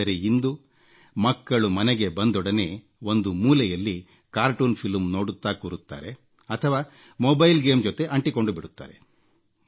ಆದರೆ ಇಂದು ಮಕ್ಕಳು ಮನೆಗೆ ಬಂದೊಡನೆ ಒಂದು ಮೂಲೆಯಲ್ಲಿ ಕಾರ್ಟೂನ್ ಫಿಲಂ ನೋಡುತ್ತಾ ಕೂರುತ್ತಾರೆ ಅಥವಾ ಮೊಬೈಲ್ ಗೇಮ್ ಜೊತೆ ಅಂಟಿಕೊಂಡುಬಿಡುತ್ತಾರೆ